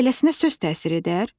Beləsinə söz təsir edər?